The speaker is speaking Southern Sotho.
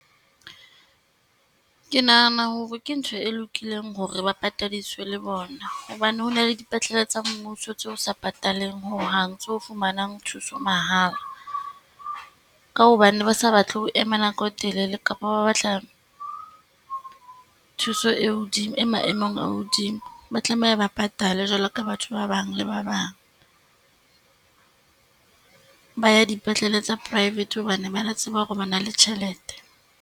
Ke nahana hore ke ntho e lokileng hore ba patadiswe le bona, hobane ho na le dipetlele tsa mmuso tse o sa pataleng hohang, tse o fumanang thuso mahala. Ka hobane ba sa batle ho ema nako e telele kapa ba batla thuso e hodimo e maemong a hodimo, ba tlameha ba patale jwalo ka batho ba bang le ba bang. Ba ya dipetlele tsa private hobane ba tseba hore ba na le tjhelete.